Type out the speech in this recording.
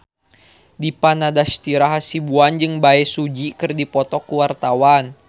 Dipa Nandastyra Hasibuan jeung Bae Su Ji keur dipoto ku wartawan